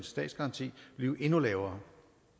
statsgaranti blive endnu lavere